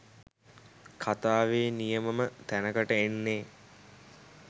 කතාවේ නියමම තැනකට එන්නේ